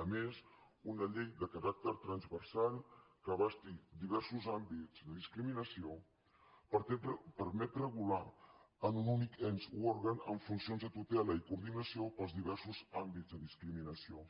a més una llei de caràcter transversal que abasti diversos àmbits de discriminació permet regular en un únic ens o òrgan amb funcions de tutela i coordinació els diversos àmbits de discriminació